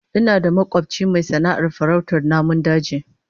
Ina da makobci mai sana'ar farautar namun daji